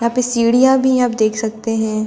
यहां पे सीढ़ियां भी आप देख सकते हैं।